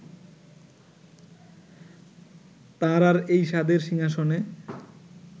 তাঁর আর এই সাধের সিংহাসনে